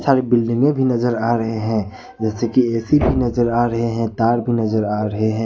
Building में भी नजर आ रहे हैं जैसे कि ऐ_सी भी नजर आ रहे हैं तार की नजर आ रहे हैं।